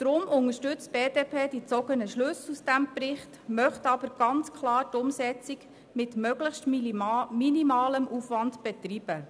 Deshalb unterstützt die BDP die aus diesem Bericht gezogenen Schlüsse, sie möchte aber ganz klar die Umsetzung mit einem möglichst minimalen Aufwand betreiben.